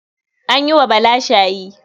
An yi wa Bala shayi.